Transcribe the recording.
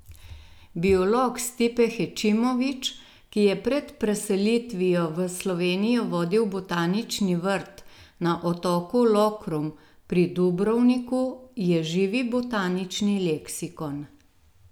Biolog Stipe Hečimović, ki je pred preselitvijo v Slovenijo vodil botanični vrt na otoku Lokrum pri Dubrovniku, je živi botanični leksikon.